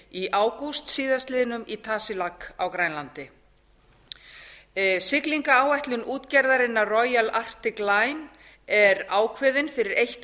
í ágúst síðastliðinn í tasiilaq á grænlandi siglingaáætlun útgerðarinnar royal articline er ákveðin fyrir eitt